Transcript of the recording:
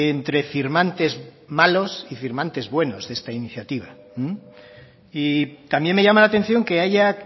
entre firmantes malos y firmantes buenos de esta iniciativa y también me llama la atención que haya